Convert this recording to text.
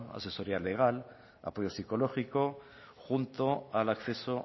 asesoría legal apoyo psicológico junto al acceso